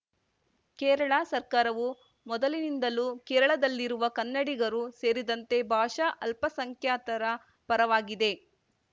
ಕೇರಳ ಸರ್ಕಾರವು ಮೊದಲಿನಿಂದಲೂ ಕೇರಳದಲ್ಲಿರುವ ಕನ್ನಡಿಗರು ಸೇರಿದಂತೆ ಭಾಷಾ ಅಲ್ಪಸಂಖ್ಯಾತರ ಪರವಾಗಿದೆ